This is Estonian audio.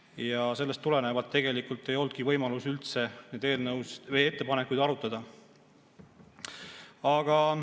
Ja sellest tulenevalt ei olnudki võimalust neid ettepanekuid üldse arutada.